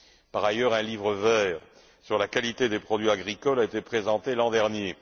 Par ailleurs, un livre vert sur la qualité des produits agricoles a été présenté l'an dernier.